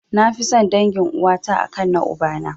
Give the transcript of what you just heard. Nafi son dangin uwata a kan na ubana.